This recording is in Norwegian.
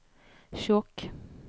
Skjåk